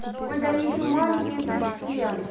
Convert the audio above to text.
ой да они ещё маленькие совсем